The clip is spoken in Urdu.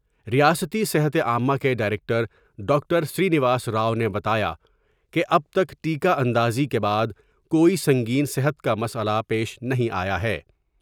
ریاستی صحت عامہ کے ڈائرکٹر ڈاکٹر سرینواس راؤ نے بتایا کہ اب تک ٹیکہ اندازی کے بعد کوئی سنگین صحت کا مسئلہ پیش نہیں آیا ہے ۔